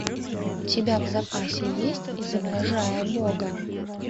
у тебя в запасе есть изображая бога